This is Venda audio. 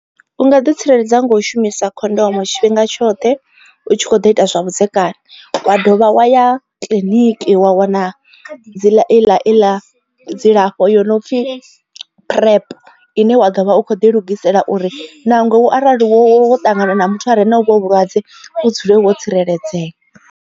Unga ḓi tsireledza nga u shumisa khondomo tshifhinga tshoṱhe u tshi kho ḓo ita zwavhudzekani wa dovha wa ya kiḽiniki wa wana dzi ḽa i ḽa dzilafho yo no pfhi PrEP ine wa ḓo vha u kho ḓi lugisela uri nangwe u arali wo ṱangana na muthu a re na u vho vhulwadze vhu dzule wo tsireledzea.